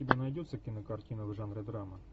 у тебя найдется кинокартина в жанре драма